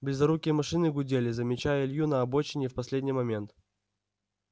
близорукие машины гудели замечая илью на обочине в последний момент